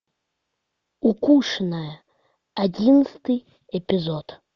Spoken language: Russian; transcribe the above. укушенная одиннадцатый эпизод